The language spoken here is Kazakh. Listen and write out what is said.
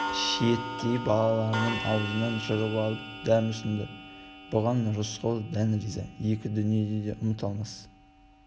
шиеттей балаларының аузынан жырып алып дәм ұсынды бұған рысқұл дән риза екі дүниеде де ұмыта алмас